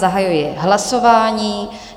Zahajuji hlasování.